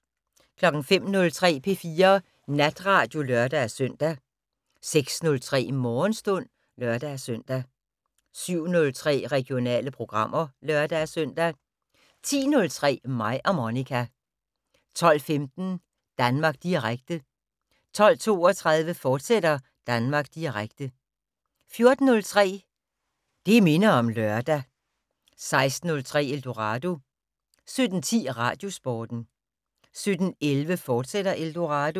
05:03: P4 Natradio (lør-søn) 06:03: Morgenstund (lør-søn) 07:03: Regionale programmer (lør-søn) 10:03: Mig og Monica 12:15: Danmark Direkte 12:32: Danmark Direkte, fortsat 14:03: Det minder om lørdag 16:03: Eldorado 17:10: Radiosporten 17:11: Eldorado, fortsat